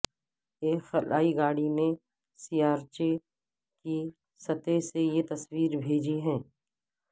ایک خلائی گاڑی نے سیارچے کی سطح سے یہ تصویر بھیجی ہے